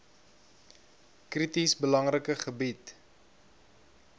krities belangrike gebied